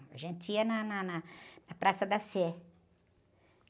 A gente ia na, na, na, na Praça da Sé.